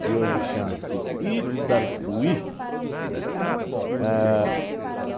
que hoje chama-se Itapuí. A